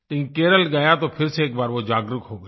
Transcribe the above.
लेकिन केरल गया तो फिर से एक बार वो जागरूक हो गई